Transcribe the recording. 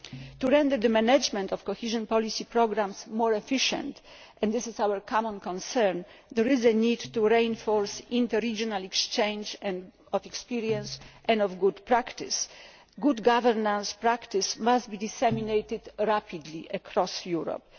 To render the management of cohesion policy programmes more efficient and this is our common concern there is a need to reinforce inter regional exchanges of experience and of good practice. Good governance practice must be disseminated rapidly across Europe.